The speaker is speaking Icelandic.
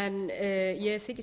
en ég þykist